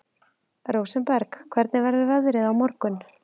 Rósenberg, hvernig verður veðrið á morgun?